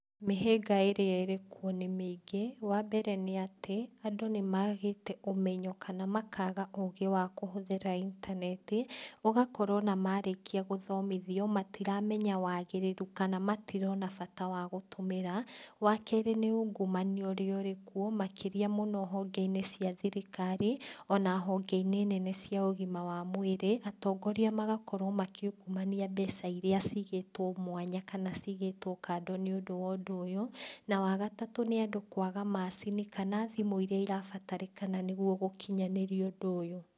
Mĩhĩnga ĩrĩa ĩrĩkuo nĩ mĩingĩ, wambere nĩatĩ, andũ nĩmagĩte ũmenyo kana makaga ũgĩ wa kũhũthĩra intaneti, ũgakora ona marĩkia gũthomithio, matiramenya wagĩrĩru, kana matirona bata wa gũtũmĩra, Wa kerĩ nĩ ungumania ũrĩa ũrĩkuo, makĩria mũno hongeinĩ cia thirikari, ona hongeinĩ nene cia ũgima wa mwĩrĩ, atongoria magakorwo makiungumania mbeca iria cigĩtwo mwanya, kana cigĩtwo kado nĩũndũ wa ũndũ ũyũ, na wagatatũ nĩ andũ kwaga macini kana thimũ iria irabatarĩkana nĩguo gũkinyanĩria ũndũ ũyũ.